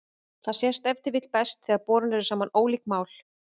Þetta sést ef til vill best þegar borin eru saman ólík mál.